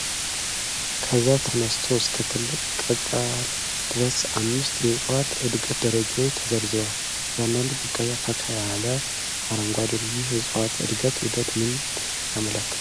ከዘር ተነስተው እስከ ትልቅ ቅጠል ድረስ አምስት የእጽዋት እድገት ደረጃዎች ተዘርዝረዋል። እያንዳንዱ ቡቃያ ፈካ ያለ አረንጓዴ ነው። ይህ የእጽዋት እድገት ዑደት ምንን ያመለክታል?